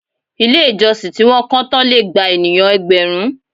Ilé ìjọsìn tí wọn kọ́ tán lè gba ènìyàn ẹgbẹ̀rún.